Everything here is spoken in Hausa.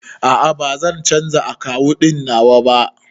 A'a, bazan canza akawun ɗin nawa ba